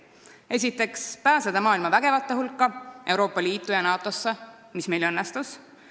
Esiteks, pääseda maailma vägevate hulka, Euroopa Liitu ja NATO-sse, mis meil õnnestus.